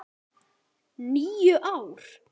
. níu ár!